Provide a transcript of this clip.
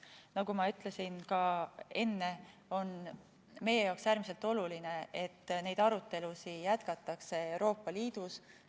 Nagu ma ütlesin ka enne, on meie jaoks äärmiselt oluline, et neid arutelusid jätkatakse Euroopa Liidus.